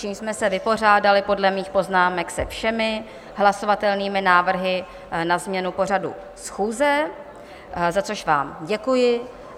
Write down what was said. Čímž jsme se vypořádali podle mých poznámek se všemi hlasovatelnými návrhy na změnu pořadu schůze, za což vám děkuji.